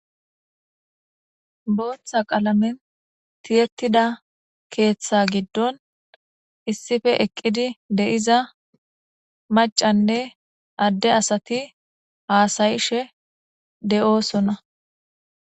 booththa qalamen tiyettida keeththa giddon issife eqqidi de7iza macanne adde asati haasayishe de7oosona